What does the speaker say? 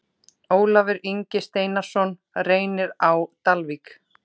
Ólafur Ingi Steinarsson Reynir Á Dalvík